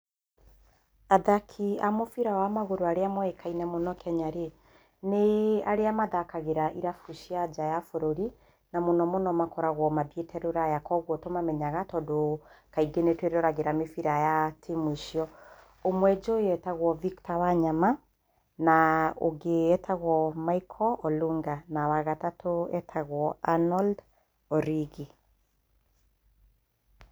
Athaki a mũbira wa magũrũ arĩa moĩkaine mũno Kenya rĩ, nĩ arĩa mathakagĩra irau cia nja wa bũrũri, na mũno mũno makoragwo mathiĩte rũraya, kwoguo nĩ tũmamenyaga tondũ kaingĩ nĩ twĩroragĩra mĩbira ya timu icio. Ũmwe njũĩ etagwo Victor Wanyama, na ũngĩ njũĩ etagwo Michael Ólunga, na wa gatatũ etagwo Anold Origi.